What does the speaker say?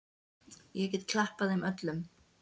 Ég get klappað þeim öllum.